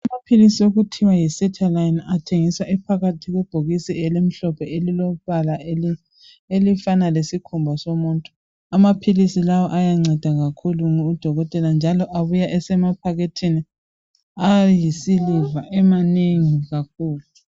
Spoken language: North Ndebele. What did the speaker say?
Amaphilisi okuthiwa yi"Sertaline" athengiswa ephakathi kwebhokisi elimhlophe elilombala elifana elifana lesikhumba somuntu. Amaphilisi lawa ayanceda kakhulu udokotela njalo abuya esemaphakethini ayisiliva amanengi kakhulu.